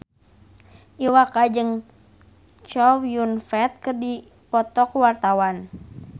Iwa K jeung Chow Yun Fat keur dipoto ku wartawan